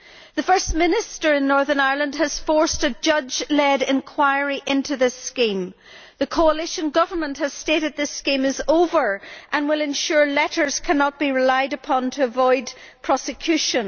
The First Minister in Northern Ireland has forced a judge led enquiry into this scheme. The coalition government has stated that this scheme is over and will ensure that letters cannot be relied upon to avoid prosecution.